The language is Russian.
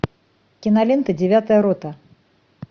кинолента девятая рота